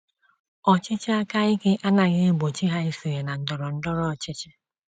Ọchịchị aka ike anaghị egbochi ha isonye na ndọrọ ndọrọ ọchịchị.